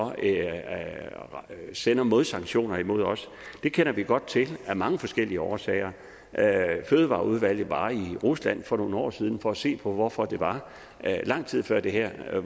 sender modsanktioner imod os kender vi godt til af mange forskellige årsager fødevareudvalget var i rusland for nogle år siden for at se på hvorfor det var lang tid før det her at